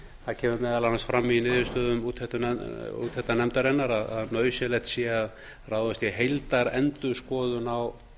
það kemur meðal annars fram í niðurstöðu úttektarnefndarinnar að nauðsynlegt sé að ráðast í heildarendurskoðun á